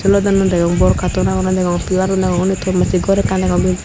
elodono degong bor katon agonne degong pilarun degong undi ton macche gor ekkan degong.